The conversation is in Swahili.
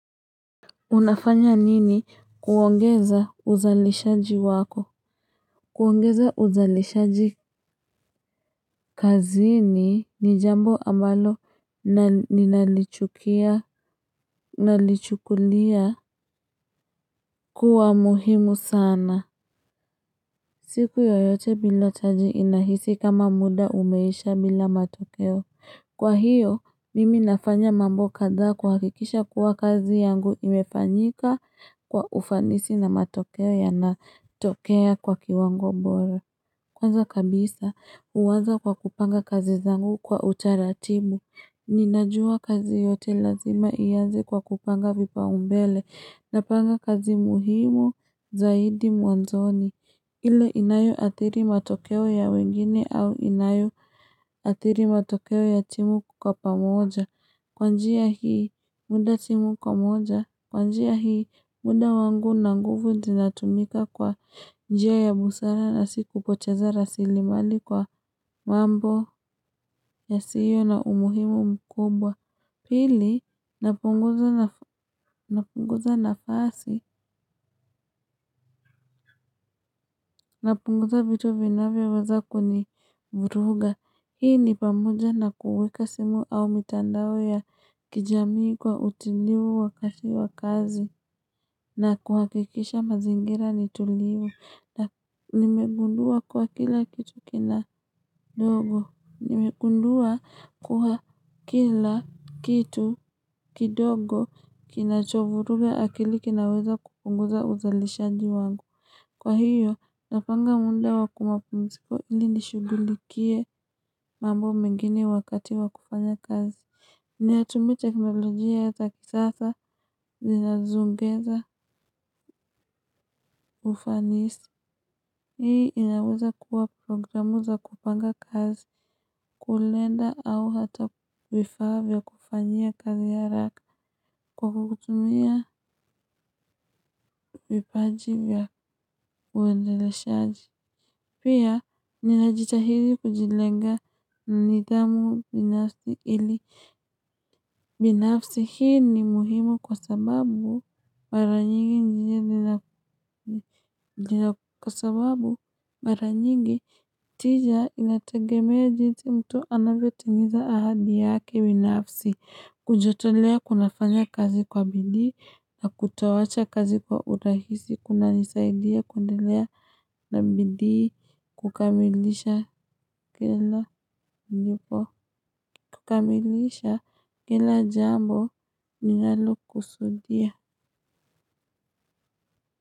Unafanya nini kuongeza uzalishaji wako? Kuongeza uzalishaji kazini ni jambo ambalo nalichukulia kuwa muhimu sana. Siku yoyote bila taji inahisi kama muda umeisha bila matokeo. Kwa hiyo, mimi nafanya mambo kadhaa kuhakikisha kuwa kazi yangu imefanyika kwa ufanisi na matokeo yanatokea kwa kiwango bora. Kwanza kabisa, huanza kwa kupanga kazi zangu kwa utaratibu. Ninajua kazi yote lazima ianze kwa kupanga vipaumbele napanga kazi muhimu zaidi mwanzoni. Ile inayoathiri matokeo ya wengine au inayoathiri matokeo ya timu kwa pamoja. Kwa njia hii muda timu kwa moja, kwa njia hii muda wangu na nguvu zinatumika kwa njia ya busara na si kupoteza rasilimali kwa mambo yasiyo na umuhimu mkubwa. Pili, napunguza nafasi, napunguza vitu vinavyoweza kunivuruga. Hii ni pamoja na kuweka simu au mitandao ya kijamii kwa utulivu wakati wa kazi. Na kuhakikisha mazingira ni tulivu. Na nimegundua kuwa kila kitu kidogo kinachovuruga akili kinaweza kupunguza uzalishaji wangu. Kwa hiyo, napanga muda wa mapumziko ili nishughulikie mambo mengine wakati wa kufanya kazi. Ninatumia teknolojia za kisasa zinazoongeza ufanisi. Hii inaweza kuwa programu za kupanga kazi, kalenda au hata vifaa vya kufanyia kazi haraka kwa kutumia vipaji vya uendeleshaji. Pia ninajitahidi kujilenga nidhamu binafsi ili binafsi hii ni muhimu kwa sababu mara nyingi kwa sababu mara nyingi tija inategemea jinsi mtu anavyotimiza ahadi yake binafsi kujitolea kunafanya kazi kwa bidii na kutoacha kazi kwa urahisi kunanisaidia kuendelea na bidii kukamilisha kila nilipo kukamilisha kila jambo ninalokusudia.